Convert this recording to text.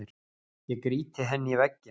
Ég grýti henni í vegginn.